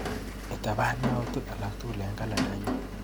Itapan yautik akatukul eng kalendainyu.